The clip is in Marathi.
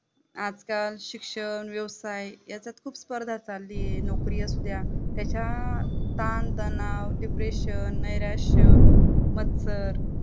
आजकाल शिक्षण, व्यवसाय याच्यात खुप स्पर्धा चालूये नोकरी असुद्या त्याच्या तानतणाव Depression नैराश्य, मत्सर